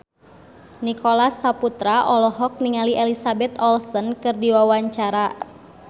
Nicholas Saputra olohok ningali Elizabeth Olsen keur diwawancara